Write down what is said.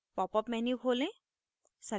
popअप menu खोलें